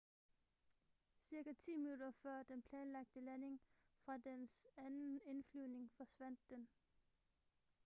cirka ti minutter før den planlagte landing fra dens anden indflyvning forsvandt den